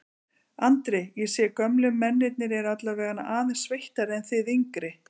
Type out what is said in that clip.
Andri: Ég sé að gömlu mennirnir eru allavegana aðeins sveittari en þið yngri?